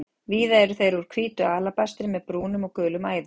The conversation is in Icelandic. Víða eru þeir úr hvítu alabastri með brúnum og gulum æðum.